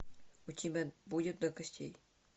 у тебя будет до костей